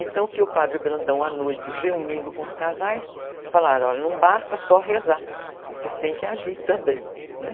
Então, o que o padre Brandão, à noite, reunindo com os casais, falaram, olha, não basta só rezar, vocês têm que agir também, né?